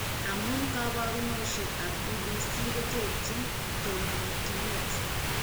Amun kabarunoshek ab EDS koterjin, tononchinet